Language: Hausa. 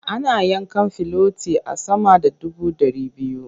Ana yanka filoti a sama da dubu ɗari biyu.